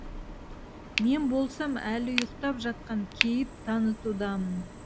мен болсам әлі ұйықтап жатқан кейіп танытудамын